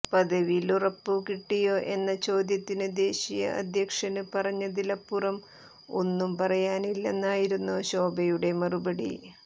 പദവിയിലുറപ്പ് കിട്ടിയോ എന്ന ചോദ്യത്തന് ദേശീയ അധ്യക്ഷന് പറഞ്ഞതിലപ്പുറം ഒന്നും പറയാനില്ലെന്നായിരുന്നു ശോഭയുടെ മറുപടി